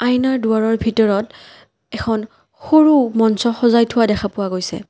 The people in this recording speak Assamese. আইনাৰ দুৱাৰৰ ভিতৰত এখন সৰু মঞ্চ সজাই থোৱা দেখা পোৱা গৈছে।